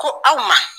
Ko aw ma